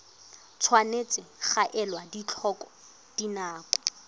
tshwanetse ga elwa tlhoko dinako